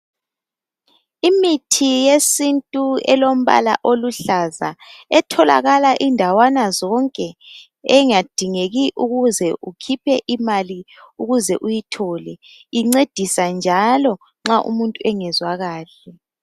Imithi yesintu elombala oluhlaza etholakala indawana zonke engadingeki ukuze ukhiphe imali ukuze uyithole. Incedisa njalo nxa ungezwa kahle.